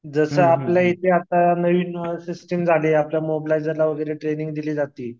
जसं आपल्याइथे आता नवीन सिस्टीम झाली आपल्या मॉबलाईझर वगैरे ट्रेनिंग दिली जाती.